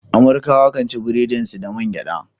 Amurkawa kan ci burodin su da man gyada.